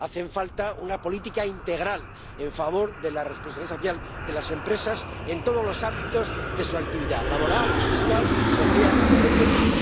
hace falta una política integral en favor de la responsabilidad social de las empresas en todos los ámbitos de su actividad laboral, fiscal, social, etcétera.